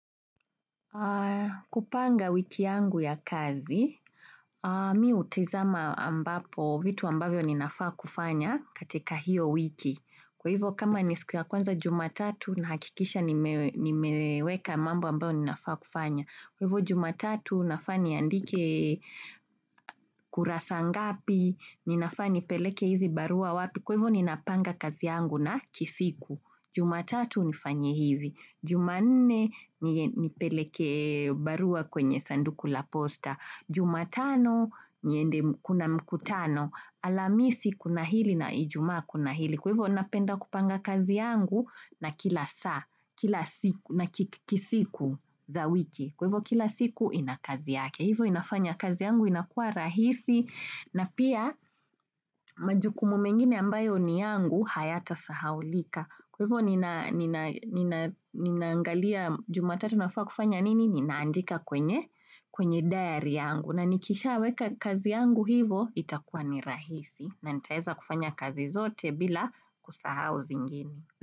Kupanga wiki yangu ya kazi, mimi hutizama ambapo vitu ambavyo ninafaa kufanya katika hiyo wiki. Kwa hivyo kama ni siku ya kwanza jumatatu nahakikisha nimeweka mambo ambayo ninafaa kufanya. Kwa hivyo jumatatu nafaa niandike kurasa ngapi, ninafaa nipeleke hizi barua wapi. Kwa hivyo ninapanga kazi yangu na ki siku. Jumatatu nifanye hivi. Jumanne nipeleke barua kwenye sanduku la posta. Juma tano niende kuna mkutano. Alhamisi kuna hili na ijumaa kuna hili. Kwa hivyo napenda kupanga kazi yangu na kila saa, kila siku na kisiku za wiki. Kwa hivyo kila siku ina kazi yake. Hivyo inafanya kazi yangu inakua rahisi na pia majukumu mengine ambayo ni yangu hayatasahaulika Kwa hivyo ninaangalia jumatatu nafaa kufanya nini ninaandika kwenye, kwenye diary yangu. Na nikishaweka kazi yangu hivyo itakuwa ni rahisi na nitaeza kufanya kazi zote bila kusahau zingine.